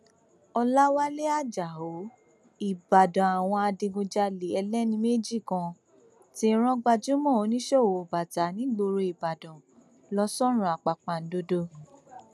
ọlàwálẹ ajáò ìbàdàn àwọn adigunjalè ẹlẹni méjì kan ti rán gbajúmọ oníṣòwò bàtà nígboro ìbàdàn lọ sọrun àpàpàǹdodo